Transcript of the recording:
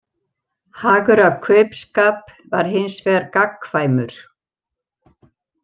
Hagur af kaupskap var hins vegar gagnkvæmur.